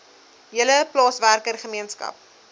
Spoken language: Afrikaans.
hele plaaswerker gemeenskap